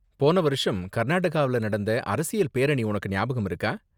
போன வருஷம் கர்நாடகால நடந்த அரசியல் பேரணி உனக்கு ஞாபகம் இருக்கா?